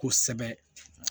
Kosɛbɛ